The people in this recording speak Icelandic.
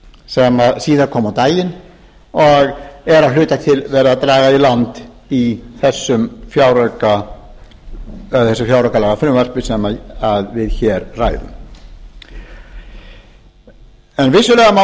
sem síðar kom á daginn og er að hluta til verið að draga í land í þessu fjáraukalagafrumvarpi sem við hér ræðum vissulega má